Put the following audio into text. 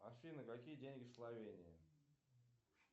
афина какие деньги в словении